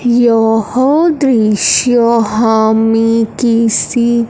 यह दृश्य हमें किसी--